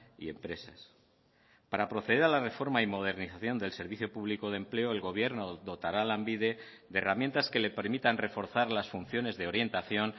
y empresas para proceder a la reforma y modernización del servicio público de empleo el gobierno dotará a lanbide de herramientas que le permitan reforzar las funciones de orientación